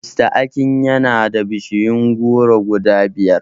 Mista Akin yana da bishiyun goro guda biyar